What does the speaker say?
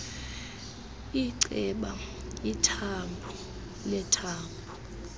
inceba ithambo lethambo